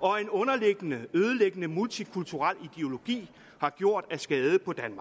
og en underliggende ødelæggende multikulturel ideologi har gjort af skade på danmark